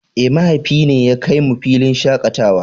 Eh mahaifi ne ya kai mu filin shakatawa.